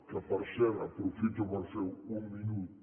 que per cert aprofito per fer un minut